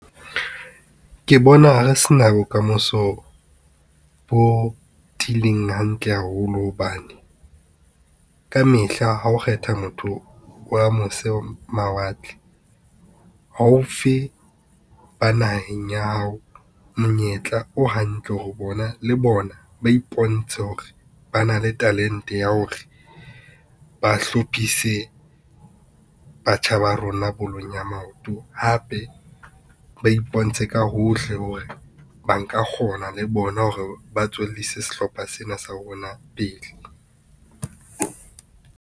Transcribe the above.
Ke bona re se na bokamoso, bo tiileng hantle haholo hobane, kamehla ha o kgetha motho wa mose mawatle haufi ba naheng ya hao. Monyetla o hantle le bona, ba ipontshe hore ba na le talent-e ya hore ba hlophise, batjha ba rona bolong ya maoto. Hape ba ipontshe ka hohle hore ba nka kgona le bona hore ba tswellise sehlopha sena sa rona pele.